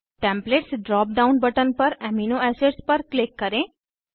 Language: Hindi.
टेम्पलेट्स ड्राप डाउन बटन पर एमिनो एसिड्स पर क्लिक करें